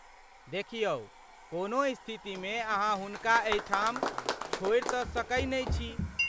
देखियौ, कोनहु स्थितिमे अहाँ हुनका एहिठाम छोड़ि तँ सकै नै छी।